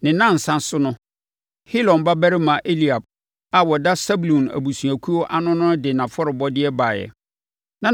Ne nnansa so no, Helon babarima Eliab a ɔda Sebulon abusuakuo ano no de nʼafɔrebɔdeɛ baeɛ.